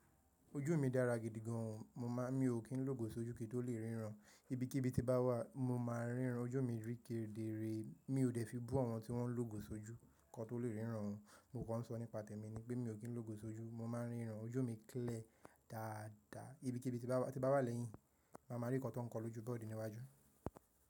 Ojú mi dára gidi gan o, mo má, mi ò kí ń lògò sojú kín tó lè ríran. Ibikíbi tí bá wà mo máa ń ríran. Ojú mi rí kédéré, mi ò dẹ́ fi bú àwọn tí wọ́n ń lògò sojú kí wọn tó lè ríran o. Mo kọ̀ ń sọ ní pàtẹ́ mi ni pé mi ò kí ń lògò sojú, mo má ń ríran. Ojú mi clear dáadáa. Ibikíbi tí bá wà lẹ́yìn, màá ma rí nǹkan tó ń kọ lojú board níwájú.